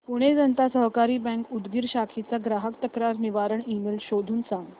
Pune Janata Sahakari bank Udgir शाखेचा ग्राहक तक्रार निवारण ईमेल शोधून सांग